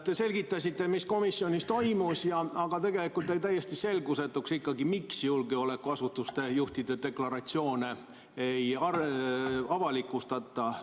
Te selgitasite, mis komisjonis toimus, aga tegelikult jäi ikkagi täiesti selgusetuks, miks julgeolekuasutuste juhtide deklaratsioone ei avalikustata.